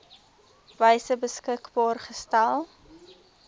wyse beskikbaar gestel